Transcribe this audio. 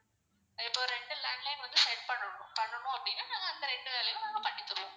இப்போ ரெண்டு landline வந்து set பண்ணனும். பண்ணனும் அப்படினா நாங்க அந்த ரெண்டு landline னும் நாங்க பண்ணி தருவோம்.